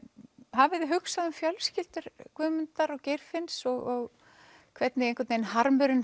hafiði hugsað um fjölskyldur Guðmundar og Geirfinns og hvernig harmurinn